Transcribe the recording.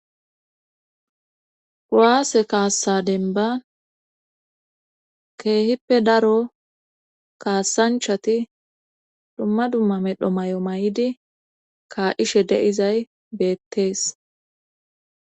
gwaase kaassa denba keehippe daro kaassanchati dhumma dumma medho may7o may7idi kaa7ishe deizay beettees